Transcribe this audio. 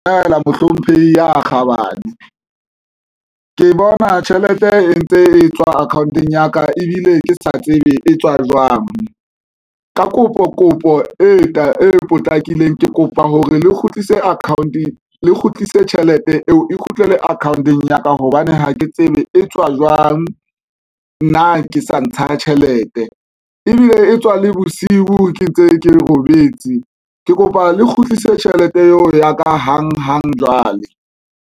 Dumela mohlomphehi ya kgabane ke bona tjhelete e ntse e tswa account-ong ya ka ebile ke sa tsebe e tswa jwang, ka kopo kopo e potlakileng ke kopa hore le kgutlise account le kgutlise tjhelete eo e kgutlela akhaonteng ya ka, hobane ha ke tsebe e tswa jwang nna ke sa ntsha tjhelete ebile e tswa le bosiu ke ntse ke robetse, ke kopa le kgutlise tjhelete eo ya ka hang hang jwale.